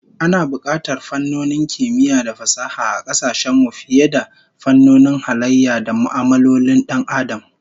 Ana bukatar fannonin kimiyya da fasaha a kasashen mu fiye da fannonin halayya da mu'amalolin Dan Adam